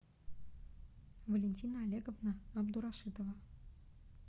валентина олеговна абдурашитова